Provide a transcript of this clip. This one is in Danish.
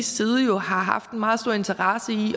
side jo har haft en meget stor interesse i